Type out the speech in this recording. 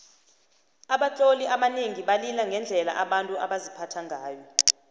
abatloli abanengi balila ngendlela abantu baziphatha ngayo